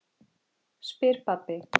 spyr pabbi.